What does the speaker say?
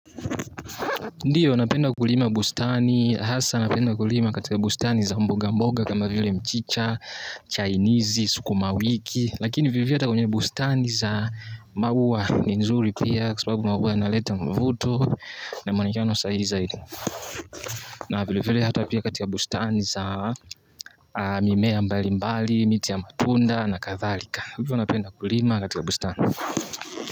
Ndiyo napenda kulima bustani, hasa napenda kulima katika bustani za mboga mboga kama vile mchicha, chainizi, sukuma wiki laki ni vili vile hata kwenye bustani za maua ni nzuri pia kwa sababu maua na leta mvuto na manikano sa izaidini na vili vile hata pia katika bustani za mimea mbalimbali, miti ya matunda na kathalika vili vile napenda kulima katika bustani.